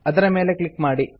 ಅದರ ಮೇಲೆ ಕ್ಲಿಕ್ ಮಾಡಿ